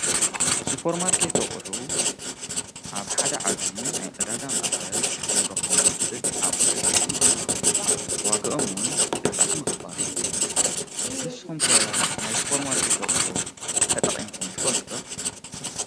ሱጶር ማርከት ኣቕሑ ኣብ ሓደ ዓብዪ ናይ ዕዳጋ ም ኣኸል ኽንረኾም ሁእል ኣቕሑ እዮም ዋግኦምውን ድጥዕ ምኽባር እዩ ምስኹምከ ናይ ሥጶር ማርከት ኣቝሑ ተጠቒምኩም ትፈልጥዶ።